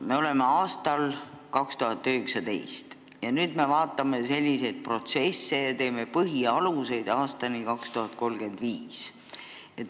Me oleme aastas 2019 ja analüüsime selliseid protsesse ja koostame põhialuseid aastani 2035.